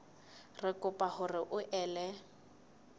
re kopa hore o ele